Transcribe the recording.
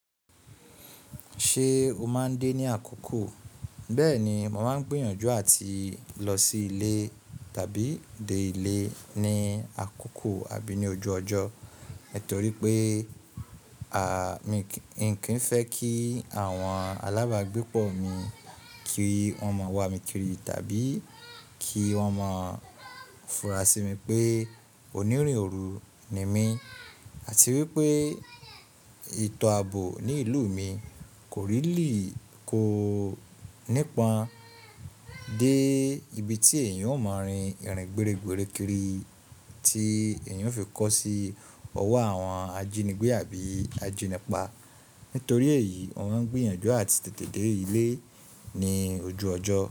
Ṣé o máa ń dé ní àkókò? Bẹ́ẹ̀ni, mo máa ń gbìyànjú àti lọ sí ilé tàbí dé ilé ní àkókò àbí ní ojú ọjọ́. Nítorí pé, à, mi kí n fẹ́ kí àwọn alábàá gbépọ̀ mi kí wọ́n mọ̀ wá mi kiri tàbí kí wọ́n mọ̀ fúnra sí mi pé onírin òru ni mí àti wípé etọ́ àbò ní ìlú mi kò rílly ko nípa dé ibi tí èèyàn ó máa rin ìrìn gberegbere kiri tí èèyàn ó fi kó sí ọwọ́ àwọn ajínigbé àbí ajínipa. Nítorí èyí, mo ń gbìyànjú àti tètè dé ilé ní ojú ọjọ́